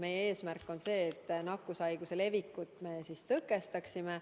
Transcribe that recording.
Meie eesmärk on nakkushaiguse leviku tõkestamine.